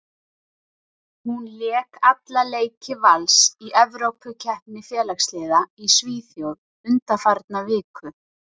Hún lék alla leiki Vals í Evrópukeppni félagsliða í Svíþjóð undanfarna viku.